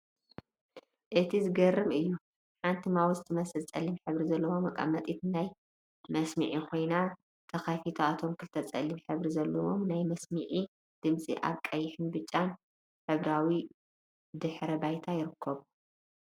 አቲ ዝገርም እዩ! ሓንቲ ማውዝ ትመስል ፀሊም ሕብሪ ዘለዋ መቀመጢት ናይ መስምዒ ኮይና፤ ተከፊታ እቶም ክልተ ፀሊም ሕብሪ ዘለዎም ናይ መስምዒ ድምፂ አብ ቀይሕን ብጫን ሕብራዊ ድሕረ ባይታ ይርከቡ፡፡